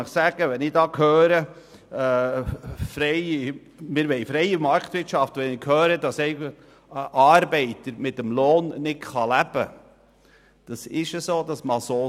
Wenn ich in unserer freien Marktwirtschaft höre, dass ein Arbeiter von seinem Lohn nicht leben kann, mag das sein.